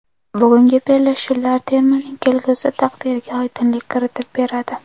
Bugungi bellashuvlar termaning kelgusi taqdiriga oydinlik kiritib beradi.